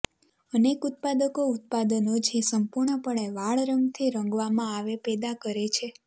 અનેક ઉત્પાદકો ઉત્પાદનો કે જે સંપૂર્ણપણે વાળ રંગથી રંગવામાં આવે પેદા કરે છે